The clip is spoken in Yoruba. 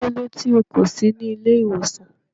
Kílódé tí o kò sí ní ìlẹ̀-ìwosan?